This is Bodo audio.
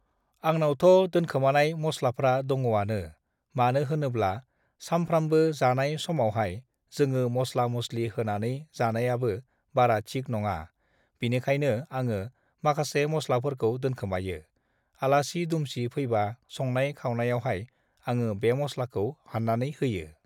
आंनावथ' दोनखोमानाय मस्लाफ्रा दङआनो मानो होनोब्ला सामफ्रामबो जानाय समावहाय जोङो मस्ला मस्लि होनानै जानायाबो बारा थिख नङा बिनिखायनो आङो माखासे मस्लाफोरखौ दोनखोमायो, आलासि दुमसि फैबा संनाय खावनायावहाय आङो बे मस्लाखौ हाननानै होयो।